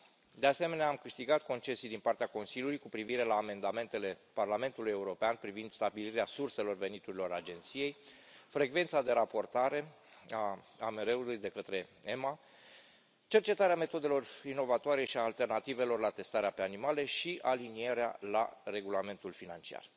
De asemenea, am câștigat concesii din partea Consiliului cu privire la amendamentele Parlamentului European privind stabilirea surselor veniturilor agenției, frecvența de raportare a AMR ului de către EMA, cercetarea metodelor inovatoare și a alternativelor la testarea pe animale și alinierea la regulamentul financiar.